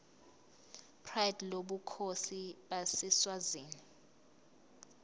pride lobukhosi baseswazini